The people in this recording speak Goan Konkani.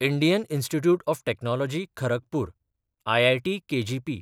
Indian institute of technology Kharagpur (IIT KGP)